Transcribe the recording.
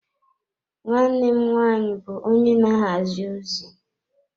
Nwanne m nwaanyị bụ onye na-ahazi ozi.